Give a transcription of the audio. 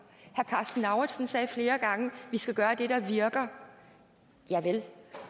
karsten lauritzen sagde flere gange vi skal gøre det der virker javel